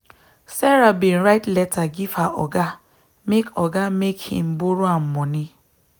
sarah bin write letter give her oga make oga make him borrow am moni